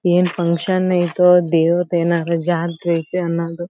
N function ಇತೋ ದೇವ್ರದ್ ಏನಾದ್ರು ಜಾತ್ರೆ ಇತ್ತ ಅನ್ನೋದು.